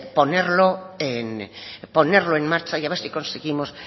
ponerlo en marcha y a ver si conseguimos